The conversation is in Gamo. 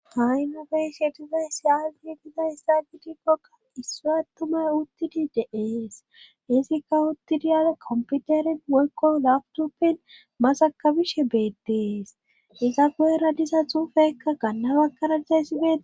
haynofeyshe bizay siyaafi giza ssa gitikkokka issu attumay uttidi de7ees izikka uttidiyala komputerin woykko lagtupen masakabishe beettees iza go7era disa xuufekka gannabakkaradizayssi bee